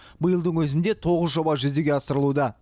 биылдың өзінде тоғыз жоба жүзеге асырылуда